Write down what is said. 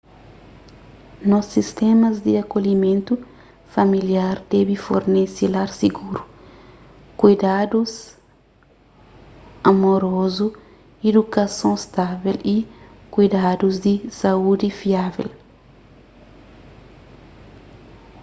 nos sistémas di akolhimentu familiar debe fornese lar siguru kuidadus amorozu idukason stável y kuidadus di saúdi fiável